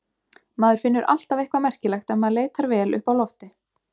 Maður finnur alltaf eitthvað merkilegt ef maður leitar vel uppi á lofti.